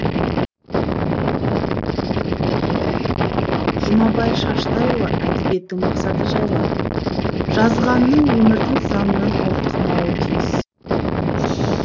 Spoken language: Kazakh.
жұмабай шаштайұлы әдебиеттің мақсаты жайлы жазғаның өмірдің заңынан ауытқымауы тиіс